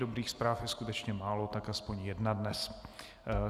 Dobrých zpráv je skutečně málo, tak aspoň jedna dnes.